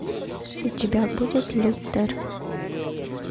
у тебя будет лютер